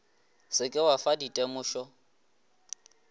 se ke wa fa ditemošo